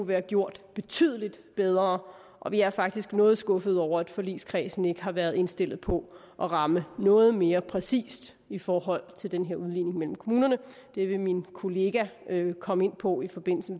været gjort betydelig bedre og vi er faktisk noget skuffet over at forligskredsen ikke har været indstillet på at ramme noget mere præcist i forhold til den her udligning mellem kommunerne det vil min kollega komme ind på i forbindelse